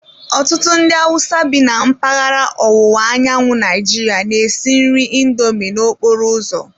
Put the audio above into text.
Ọtụtụ ndị Hausa bi na mpaghara ọwụwa anyanwụ Naijiria na-esi nri indomi n'okporo ụzọ.